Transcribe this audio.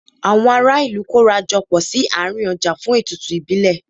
Àwọn ará ìlú kóra jọ pọ̀ sí àárín ọjà fún ètùtù ìbílẹ̀.